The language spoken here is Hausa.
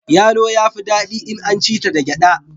Yalo ya fi dadin in an ci ta da gyada.